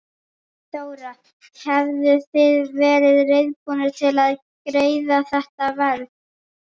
Þóra: Hefðuð þið verið reiðubúnir til að greiða þetta verð?